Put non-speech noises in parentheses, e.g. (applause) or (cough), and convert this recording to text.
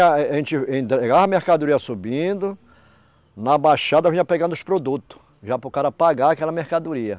(unintelligible) A gente entregava a mercadoria subindo, na baixada vinha pegando os produtos, já para o cara pagar aquela mercadoria.